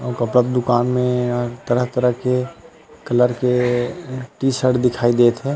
अउ कपड़ा के दुकान में तरह - तरह के कलर के टी शर्ट दिखाई देत हे।